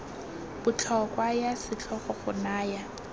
botlhokwa ya setlhogo go naya